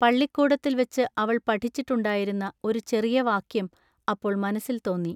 പള്ളിക്കൂടത്തിൽ വച്ചു അവൾ പഠിച്ചി ട്ടുണ്ടായിരുന്ന ഒരു ചെറിയ വാക്യം അപ്പോൾ മനസ്സിൽ തോന്നി.